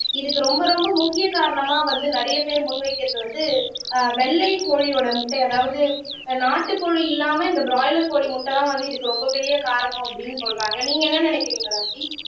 இதுக்கு ரொம்ப ரொம்ப முக்கிய காரணமா வந்து நிறைய பேர் முன் வைக்கிறது வந்து ஆஹ் வெள்ளை கோழியோட முட்டை அதாவது நாட்டுக்கோழி இல்லாம இந்த பிராய்லர் கோழி முட்டைதான் வந்து இதுக்கு ரொம்ப பெரிய காரணம் அப்படின்னு சொல்றாங்க நீங்க என்ன நினைக்கிறீங்க ராஜி